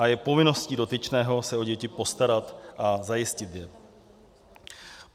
A je povinností dotyčného se o děti postarat a zajistit je.